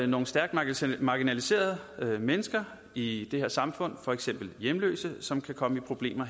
nogle stærkt marginaliserede mennesker i det her samfund for eksempel hjemløse som kan komme i problemer